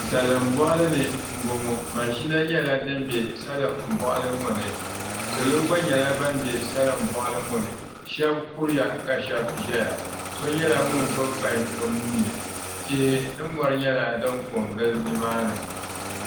Salin boɣali ni n boŋo mashina nyɛla din bɛ salin boɣali ŋo ni salo gba nyɛla ban bɛ salin boɣali ŋo ni shab kuriya ka shab ʒɛya so nyɛla ŋun gbubi paip o nuuni tihi ni mori nyɛla din gili nimaani